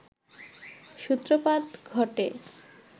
সূত্রপাত ঘটে